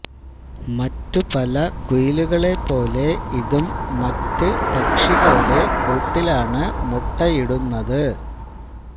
മറ്റു പല കുയിലുകളെപോലെ ഇതും മറ്റു പക്ഷികളുടെ കൂട്ടിലാണ് മുട്ടയിടുന്നത്